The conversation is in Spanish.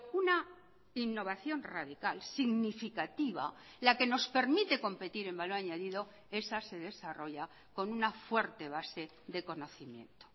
una innovación radical significativa la que nos permite competir en valor añadido esa se desarrolla con una fuerte base de conocimiento